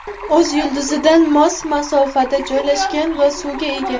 o‘z yulduzidan mos masofada joylashgan va suvga ega.